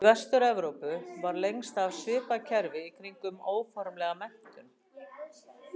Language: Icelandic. Í Vestur-Evrópu var lengst af svipað kerfi í kringum óformlega menntun.